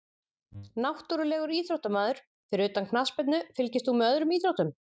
Náttúrulegur íþróttamaður Fyrir utan knattspyrnu, fylgist þú með öðrum íþróttum?